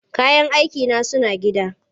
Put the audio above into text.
Kayan aikina suna gida.